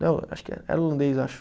Não, acho que é, era holandês, acho.